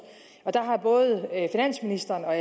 der har både finansministeren og